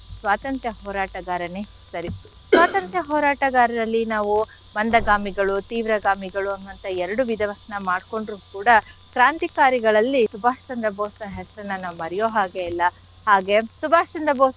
ಸ್ವಾತಂತ್ರ್ಯ ಹೋರಾಟಗಾರನೆ ಸರಿ caugh ಸ್ವಾತಂತ್ರ್ಯ ಹೋರಾಟಗಾರರಲ್ಲಿ ನಾವು ಮಂದಗಾಮಿಗಳು ತೀವ್ರಗಾಮಿಗಳು ಅನ್ನುವಂಥ ಎರಡು ವಿದವನ್ನ ಮಾಡ್ಕೊಂಡ್ರು ಕೂಡ ಕ್ರಾಂತಿಕಾರಿಗಳಲ್ಲಿ ಸುಭಾಷ್ ಚಂದ್ರ ಬೋಸ್ರ ಹೆಸರನ್ನ ನಾವ್ ಮರ್ಯೋ ಹಾಗೆ ಇಲ್ಲ ಹಾಗೆ ಸುಭಾಷ್ ಚಂದ್ರ ಬೋಸ್ ರ